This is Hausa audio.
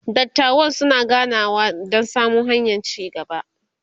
dattawan suna ganawa Dan samo hanyan ci gaba